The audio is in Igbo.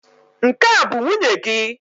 Nke a bụ nwunye gị?